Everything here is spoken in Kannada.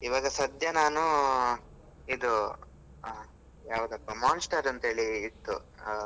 ಇವಾಗ ಸದ್ಯ ನಾನು ಇದು ಯಾವದಪ್ಪ Monster ಅಂತೇಳಿ ಇತ್ತು.